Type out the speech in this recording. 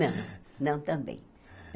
Não, não também.